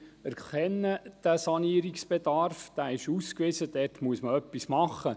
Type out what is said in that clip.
Wir erkennen den Sanierungsbedarf, dieser ist ausgewiesen, und dort muss man etwas machen.